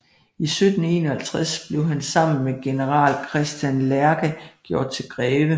I 1751 blev han sammen med general Christian Lerche gjort til greve